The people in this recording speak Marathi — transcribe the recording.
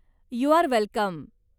You are welcome.